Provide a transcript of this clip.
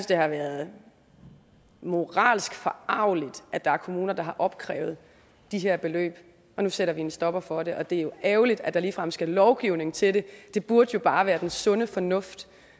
det har været moralsk forargeligt at der er kommuner der har opkrævet de her beløb nu sætter vi en stopper for det og det er jo ærgerligt at der ligefrem skal lovgivning til det burde jo bare være den sunde fornuft